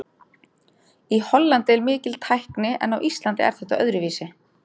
Í Hollandi er mikil tækni en á Íslandi er þetta öðruvísi.